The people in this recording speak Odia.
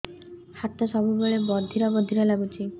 ହାତ ସବୁବେଳେ ବଧିରା ବଧିରା ଲାଗୁଚି